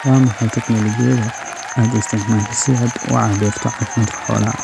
Waa maxay tignoolajiyada aad isticmaashaa si aad u cabbirto caafimaadka xoolaha?